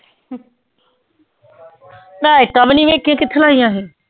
ਮੈਂ ਇੱਟਾਂ ਵੀ ਨੀ ਵੇਖੀਆਂ ਕਿੱਥੇ ਲਾਈਆਂ ਸੀ